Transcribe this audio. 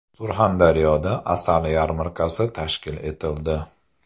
Surxondaryoda asal yarmarkasi tashkil etildi.